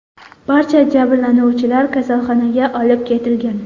Barcha jabrlanuvchilar kasalxonaga olib ketilgan.